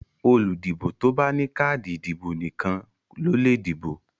Olùdìbò tó bá ní káàdì ìdìbò nìkan ló lè dìbò.